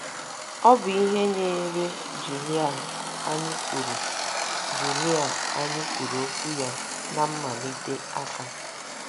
Ọ bụ ihe nyeere Julia anyị kwuru Julia anyị kwuru okwu ya ná mmalite aka.